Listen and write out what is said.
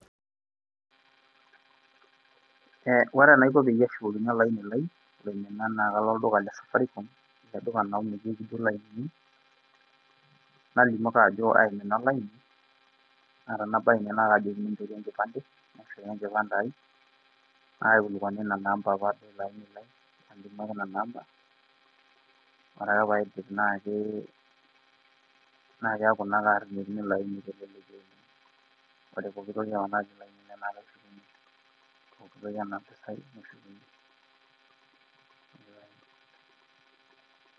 ore enaiko peeyie ashukokini olaini lai, naa kalo olduka le safaricom amu ninye etii ilainini, najoki oltungani aimina olaini, naa tenabaya ine naa kaajokini inchoru enkipande, naaikilikuani inamba olapa aini lai, nalimu ake nena amba. ore ake pee aaidip, naa keeku ake kaashukokini ilo aini teleleki oleng. ore poki toki otiii ele aini neshukuni tenaa iropiyiani neshukuni.